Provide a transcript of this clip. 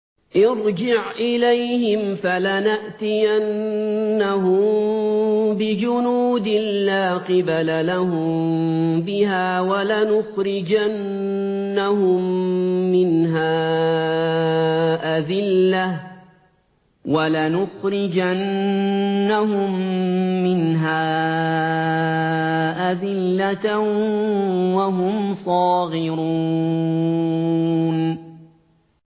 ارْجِعْ إِلَيْهِمْ فَلَنَأْتِيَنَّهُم بِجُنُودٍ لَّا قِبَلَ لَهُم بِهَا وَلَنُخْرِجَنَّهُم مِّنْهَا أَذِلَّةً وَهُمْ صَاغِرُونَ